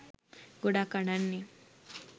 ගොඩක් අඬන්නෙ